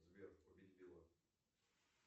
сбер убить билла